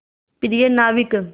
प्रिय नाविक